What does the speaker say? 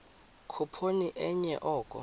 khuphoni enye oko